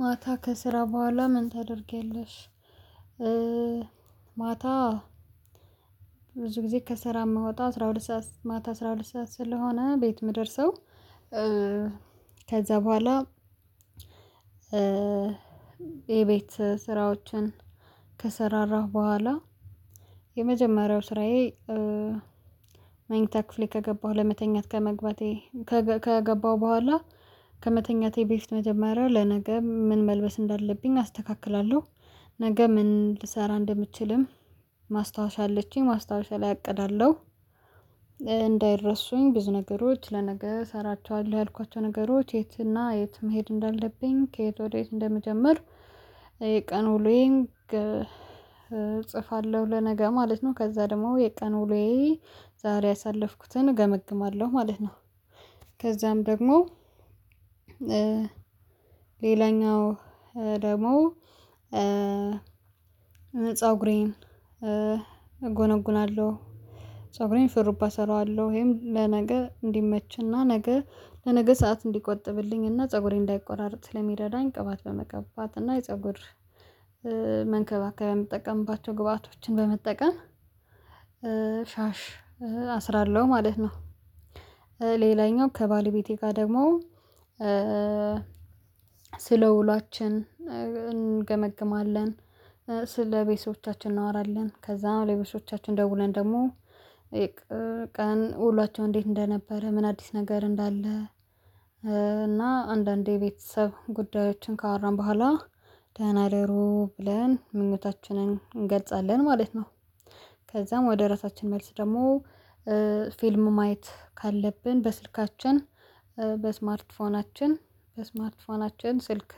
ማታ ከስራ በኋላ ምን ታደርጊያለሽ? ማታ ብዙ ጊዜ ከስራ እምወጣው አስራ ሁለት ሰዓት ማታ አስራ ሁለት ሰዓት ስለሆነ ቤት እምደርሰው። ከዛ በኋላ የቤት ስራዎችን ከሰራራሁ በኋላ የመጀመሪያው ስራዬ። መኝታ ክፍሌ ከገባሁ ለመተኛት ከመግባቴ ከገባሁ በኋላ ከመተኛቴ በፊት መጀመሪያ ለነገ ምን መልበስ እንዳለብኝ አስተካክላለሁ። ነገ ምን ልሰራ እንደምችልም ማስታወሻ አለችኝ ማስታወሻ ላይ አቅዳለሁ። እንዳይረሱኝ ብዙ ነገሮች ለነገ እሰራቸዋል ያልኳቸው ነገሮች የትና የት መሄድ እንዳለብኝ ከየት ወዴት እንደምጀምር የቀን ውሎየን እጽፋለሁ ለነገ ማለት ነው። ከዛ ደግሞ የቀን ውሎዬን ዛሬ ያሳለፍኩትን እገመግማለሁ ማለት ነው። ከዛም ደግሞ ሌላኛው ደግሞ ፀጉሬን እጎነጉናለሁ ፀጉሬን ሹርባ እሰራዋለሁ ወይም ለነገ እንዲመችና ነገ ለነገ ሰዓት እንዲቆጥብልኝ እና ፀጉሬ እንዳይቆራርጥ ለሚረዳኝ ቅባት ለመቀባት እና የፀጉር መንከባከቢያ እምጠቀምባቸው ግብአቶችን በመጠቀም ሻሽ አስራለሁ ማለት ነው። ሌላኛው ከባለቤቴ ጋር ደግሞ ስለ ውሏችን እንገመግማለን ስለ ቤተሰቦቻችን እናወራለን ከዛም ለቤተሰቦቻችን ደውለን ደግሞ ቀን ሁሏችን እንዴት እንደነበረ ምን አዲስ ነገር እንዳለ እና አንዳንዴ ቤተሰብ ጉዳዮችን ካወራን በኋላ ደህና እደሩ ብለን ምኞታችንን እንገልጻለን ማለት ነው። ከዛም ወደ እረሳችን መልስ ደግሞ ፊልም ማየት ካለብን በስልካችን በስማርትፎናችን በስማርትፎናችን ስልክ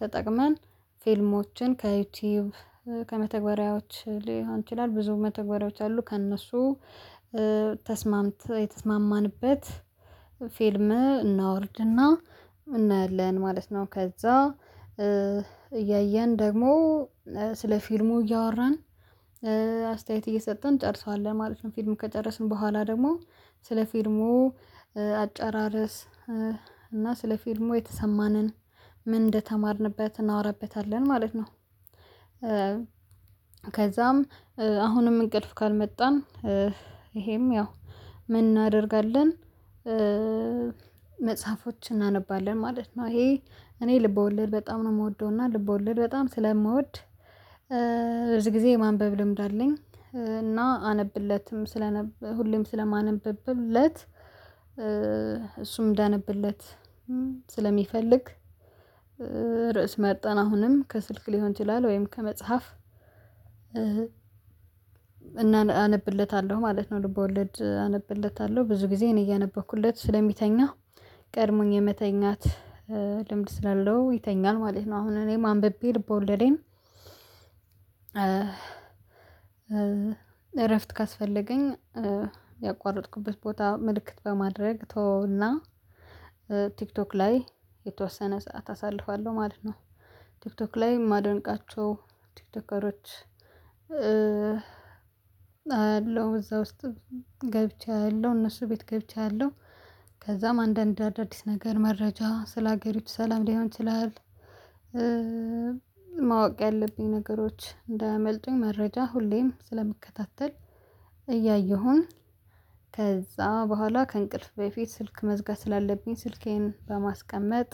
ተጠቅመን ፊልሞችን ከዩቲዩብ ከመተግበሪያዎች ሊሆን ይችላል ብዙ መተግበሪያዎች አሉ ከእነሱ የተስማማንበት ፊልም እናውርድና እናያለን ማለት ነው። ከዛ እያየን ደግሞ ስለ ፊልሙ እያወራን አስተያየት እየሰጠን እንጨርሰዋለን ለማለት ነው። ፊልም ከጨረስን በኋላ ደግሞ ስለ ፊልሙ አጨራረስ እና ስለ ፊልሙ የተሰማንን ምን እንደተማርንበት እናወራበታለን ማለት ነው። ከዛም አሁንም እንቅልፍ ካልመጣን ይሄም ያው ምን እናደርጋለን? መጽሐፎች እናነባለን ማለት ነው። ይሄ እኔ ልብ በወለድ በጣም ነው የምወደውና ልብ ወለድ በጣም ስለምወድ በዙ ጊዜ የማንበብ ልምድ አለኝ እና አነብለትም ስለ ሁሌም ስለማንብለት እሱም እንዳነብለት ስለሚፈልግ ርዕስ መርጠን አሁንም ከስልክ ሊሆን ይችላል ወይም ከመጽሐፍ እና አነብለታለሁ ማለት ነው። ልብ ወለድ አነብለታለሁ ብዙ ጊዜ እኔ እያነበኩለት ስለሚተኛ ቀድሞኝ የመተኛት ልምድ ስላለው ይተኛል ማለት ነው። አሁን እኔም አንብቤ ልብ ወለዴን እረፍት ካስፈለገኝ ያቋረጥኩበት ቦታ ምልክት በማድረግ እተወውና ቲክቶክ ላይ የተወሰነ ሰዓት አሳልፋለሁ ማለት ነው። ቲክቶክ ላይ የማደንቃቸው ቲክቶከሮች አያለሁ እዛ ውስጥ ገብቻለሁ እነሱ ቤት ገብቻለሁ ከዛም አንዳንድ አዳዲስ ነገር መረጃ ስለ ሀገሪቱ ሰላም ሊሆን ይችላል። ማወቅ ያለብኝ ነገሮች እንዳያመልጡኝ መረጃ ሁሌም ስለምከታተል እያየሁኝ ከዛ በኋላ ከእንቅልፍ በፊት ስልክ መዝጋት ስላለብኝ ስልኬን በማስቀመጥ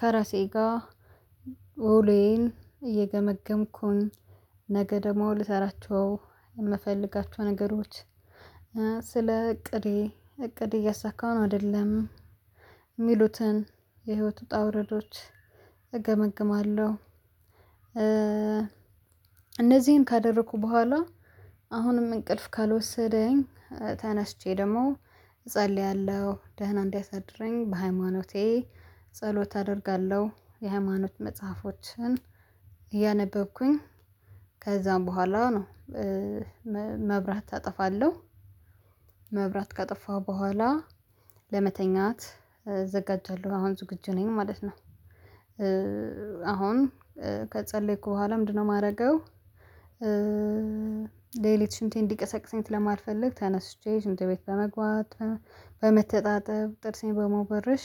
ከራሴ ጋር ውሎዬን እየገመገምኩኝ ነገ ደግሞ ልሰራቸው እምፈልጋቸው ነገሮች ስለ እቅዴ እቅዴ እያሳካሁ ነው አይደለም እሚሉትን የህይወት ውጣ ውረዶች እገመግማለሁ። እነዚህን ካደረኩ በኋላ አሁንም እንቅልፍ ካልወሰደኝ ተነስቼ ደግሞ እጸልያለሁ ደህና እንዲያሳድረኝ በሃይማኖቴ ጸሎት አደርጋለሁ። የሃይማኖት መጽሐፎችን እያነበብኩኝ ከዛም በኋላ ነው መብራት እጠፋለሁ መብራት ከጠፋ በኋላ ለመተኛት እዘጋጃለሁ አሁን ዝግጁ ነኝ ማለት ነው። አሁን ከጸለይኩ በኋላ ምንድነው እማደርገው? ሌሊት ሽንቴን እንዲቀሰቅሰኝ ስለማልፈልግ ተነስቼ ሽንት ቤት በመግባት በመተጣጠብ ጥርሴን በመቦረሽ